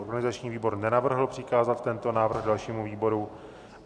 Organizační výbor nenavrhl přikázat tento návrh dalšímu výboru.